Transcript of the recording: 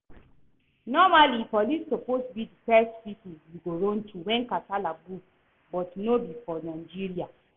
Normally police suppose be the first people you go run to when casala burst but no be for Nigeria